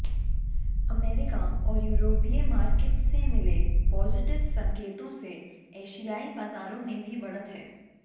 America और यूरोपीय markets से मिले पॉजिटिव संकेतों से एशियाई बाजारों में भी बढ़त है